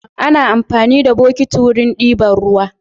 Ana amfani da bokiti wurin diban ruwa